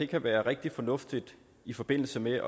kan være rigtig fornuftige i forbindelse med